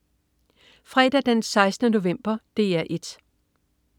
Fredag den 16. november - DR 1: